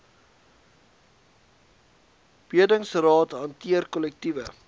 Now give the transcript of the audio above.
bedingingsraad hanteer kollektiewe